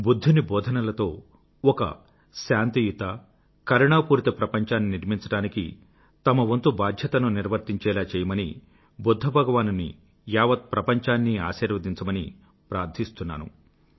బుధ్ధుని భోధనలతో ఒక శాంతియుత కరుణాపూరిత ప్రపంచాన్ని నిర్మించడానికి తమవంతు బాధ్యతను నిర్వర్తించేలా చేయమని బుధ్ధ భగవానుని యావత్ ప్రపంచాన్నీ ఆశీర్వదించమని ప్రార్థిస్తున్నాను